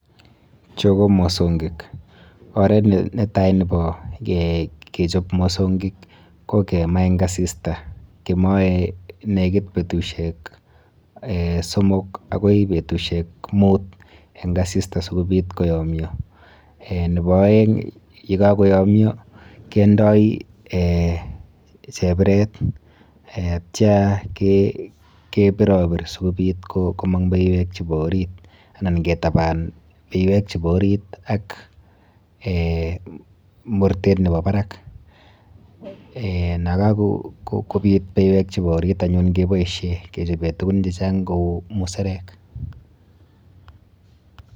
Chu ko mosonkik. Oret netai nepo kechop mosonkik ko kema eng asista kemoe nekit betusiek um somok akoi betusiek mut eng asista sikobit koyomyo um nepo oeng yekakoyomyo kendoi [um]chebiret [um]atyo kepiropir sikobit komong beiwek chepo orit anan ketaban beiwek chepo orit ak[um] mortet nepo barak [um]nakakobit beiwek chepo orit anyun keboishe kechope tukun chechang kou muserek.